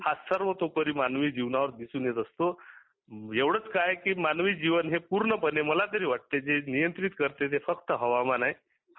हा तो सर्वतोपरि मानवी जीवनावर दिसून येत असतो एवढच काय की मानवी जीवना हे पूर्ण पणे मला तरी वाटत नियंत्रात करतील ते फक्त हवामान आहे